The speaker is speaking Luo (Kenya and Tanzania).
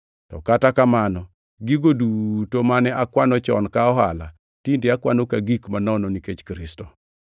To kata kamano, gigo duto mane akwano chon ka ohala tinde akwano ka gik manono nikech Kristo.